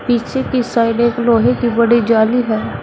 पीछे की साइड एक लोहे की बड़ी जाली है।